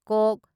ꯀ